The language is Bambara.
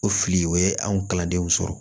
O fili o ye an kalandenw sɔrɔ